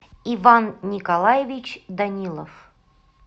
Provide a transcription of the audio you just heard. иван николаевич данилов